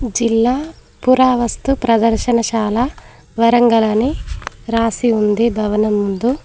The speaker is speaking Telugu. జిల్లా పురావస్తు ప్రదర్శనశాల వరంగల్ అని రాసి ఉంది భవనం ముందు.